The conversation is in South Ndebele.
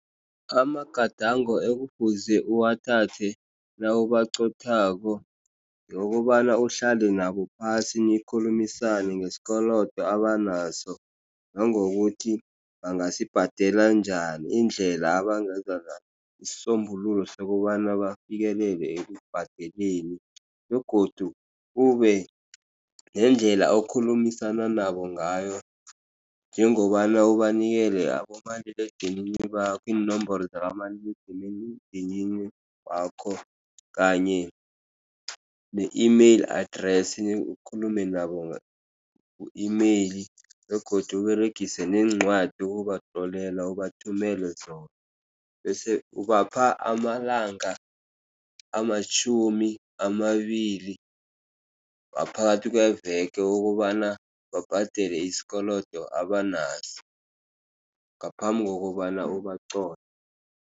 Amagadango ekufuze uwathathe nawubaqothako ngokobana uhlale nabo phasi nikhulumisane ngesikolodo abanaso. Nangokuthi bangasibhadela njani indlela abangenza isisombululo sokobana bafikelele ekubhadeleni begodu kube nendlela okhulumisana nabo ngayo njengobana ubanikela abomaliledinini bakho iinomboro zikamaliledinini dinini wakho kanye ne-email address ukhulume nabo ku-email begodu uberegise neencwadi ukubatlolela ubathumele zona. Bese ubapha amalanga amatjhumi amabili waphakathi kweveke ukobana babhadele isikolodo abanaso ngaphambi kokobana ubaqotjhe.